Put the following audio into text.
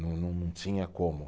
Não, não, não tinha como.